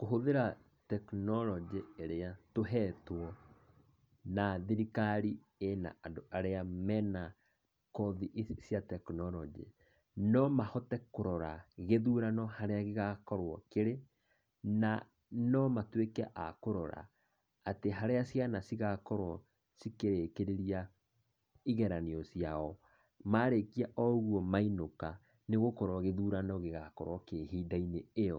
Kũhũthĩra tekinoronjĩ ĩrĩa tũhetwo na thirikari ĩna andũ arĩa mena kothi ici cia tekinoronjĩ, no mahote kũrora gĩthurano harĩa gĩgakorwo kĩrĩ, na nomatuĩke a kũrora, atĩ harĩa ciana cigakorwo cikĩrĩkĩrĩria igeranio ciao, marĩkia o ũguo mainũka, nĩ gũkorwo gĩthurano gĩgakorwo ihinda-inĩ ĩyo,